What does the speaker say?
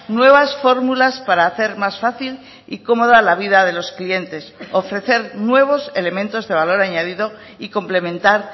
nuevas fórmulas para hacer más fácil y cómoda la vida de los clientes ofrecer nuevos elementos de valor añadido y complementar